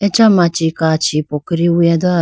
acha machi kachi pokori wuya do.